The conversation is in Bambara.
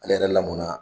Ale yɛrɛ lamɔnna